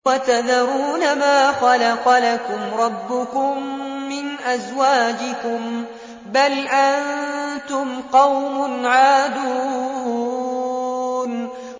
وَتَذَرُونَ مَا خَلَقَ لَكُمْ رَبُّكُم مِّنْ أَزْوَاجِكُم ۚ بَلْ أَنتُمْ قَوْمٌ عَادُونَ